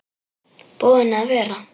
Búinn að vera.